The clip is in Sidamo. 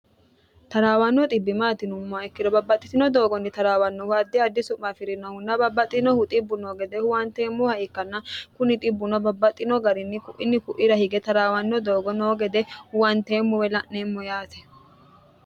taraawanno xbbi maati yinummoha ikkiro babbaxxitino doogonni taraawannohu addi addi su'ma afi'rinohunna babbaxinohu xibbu noo gede huwanteemmoha ikkanna kuni dhibbuno babbaxxino garinni ku'iinni ku'ira hige taraawanno doogo noo gede huwanteemmo woy la'neemmo yaate